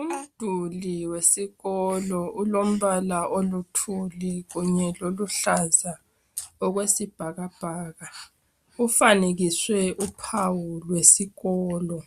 Umduli wesikolo ulombala oluthuli kunye loluhlaza okwesibhakabhaka. Ufanekiswe uphawu lwesikolo.